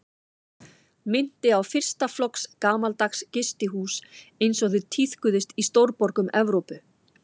Minnti á fyrsta flokks gamaldags gistihús einsog þau tíðkuðust í stórborgum Evrópu.